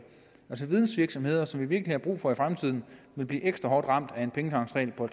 altså vidensvirksomheder som vi virkelig har brug for i fremtiden vil blive ekstra hårdt ramt af en pengetanksregel på